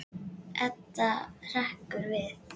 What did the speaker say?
Edda hrekkur við.